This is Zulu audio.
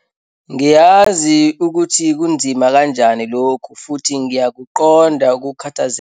Ngiyazi ukuthi kunzima kanjani lokhu futhi ngiyakuqonda ukukhathazeka.